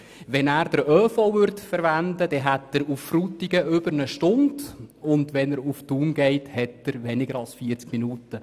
Würde er den ÖV benutzen, dauerte die Fahrt nach Frutigen über eine Stunde und nach Thun weniger als 40 Minuten.